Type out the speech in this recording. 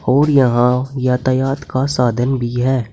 और यहां यातायात का साधन भी है।